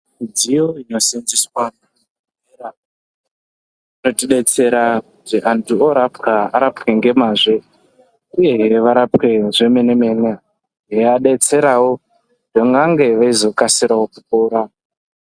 Midziyo inosenzeswa muzvibhedhlera i notidetsera kuti antu orapwa arapwe ngemazvo uyezve varapwe zvemene yeivadetserawo kuti vange veizokasirawo kupora.